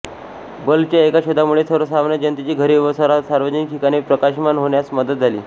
बल्बच्या एका शोधामुळे सर्वसामान्य जनतेची घरे व सार्वजनिक ठिकाणे प्रकाशमान होण्यास मदत झाली